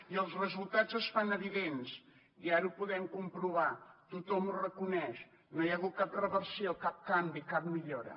i els resultats es fan evidents i ara ho podem comprovar tothom ho reconeix no hi ha hagut cap reversió cap canvi cap millora